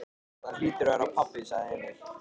Það hlýtur að vera pabbi, sagði Emil.